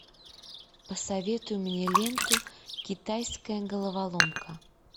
посоветуй мне ленту китайская головоломка